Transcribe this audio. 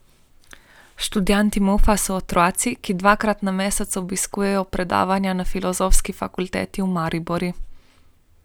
Študenti Mufa so otroci, ki dvakrat na mesec obiskujejo predavanja na Filozofski fakulteti v Mariboru.